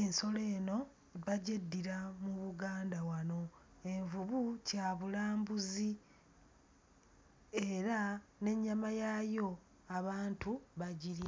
ensolo eno bagyeddira mu Buganda wano. Envubu kyabulambuzi era n'ennyama yaayo abantu bagirya.